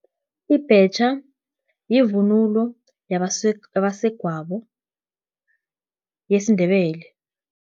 Ibhetjha, yivunulo yabasegwabo yesindebele.